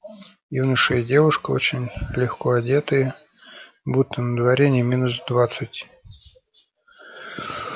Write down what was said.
юноша и девушка очень легко одетые будто на дворе не минус двадцать